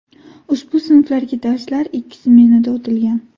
Ushbu sinflarga darslar ikki smenada o‘tilgan.